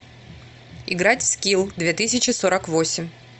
играть в скилл две тысячи сорок восемь